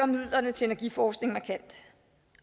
midlerne til energiforskning markant